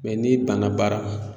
n'i banna baara ma